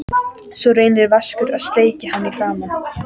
Svo reynir Vaskur að sleikja hann í framan.